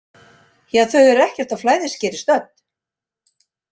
Ja, þau eru ekkert á flæðiskeri stödd.